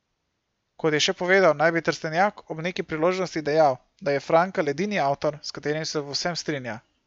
Kot je še povedal, naj bi Trstenjak ob neki priložnosti dejal, da je Frankl edini avtor, s katerim se v vsem strinja.